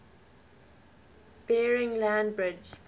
bering land bridge